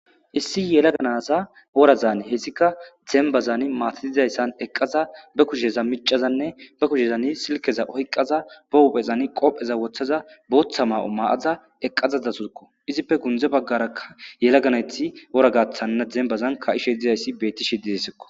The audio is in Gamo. Issi yelaganaza orazaane hessika dembazani maatadizayssan eqqaza be kusheza micazanne ba kushezani silkeza oyqqaza bohuphezani qoopheza wothaza booththa maa'o ma'aza eqqazada sukko izippe gundze baggaraka yelaganayti ora gathanna dembazan ka7ishe dizayssi beetti shididesikko.